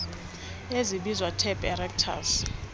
ezibizwa tap aerators